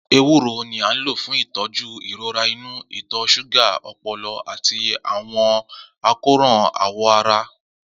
Ewuro ni a lo fun itọju irora inu, ìtọ́ ṣúgà, ọpọlọ, ati awọn akoran awọ ara.